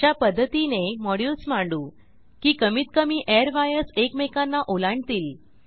अशा पध्दतीने मॉड्युल्स मांडू की कमीत कमी एअरवायर्स एकमेकांना ओलांडतील